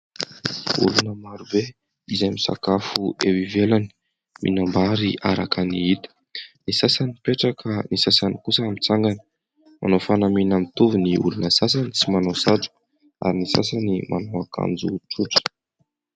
Olona marobe izay misakafo eo ivelany, mihinam-bary araka ny hita. Ny sasany mipetraka, ny sasany kosa mitsangana, manao fanamiana mitovy ny olona sasany tsy manao satroka ary ny sasany manao ankanjo tsotra.